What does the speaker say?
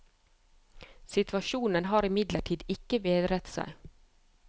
Situasjonen har imidlertid ikke bedret seg.